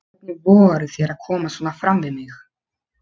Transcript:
Hvernig vogarðu þér að koma svona fram við mig!